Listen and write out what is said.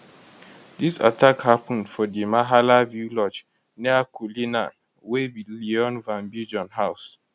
dis attack happun for di mahala view lodge near cullinan wey be leon van biljon house